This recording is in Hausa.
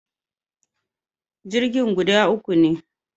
Jirgin guda uku ne